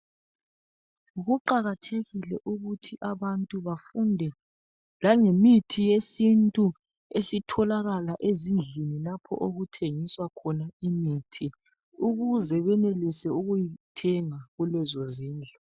Kuqakathekile ukuthi abantu bafunde langemithi yesintu esitholakala ezindlini lapho okuthengiswa khona imithi ukuze benelise ukuyithenga kulezo zindlu.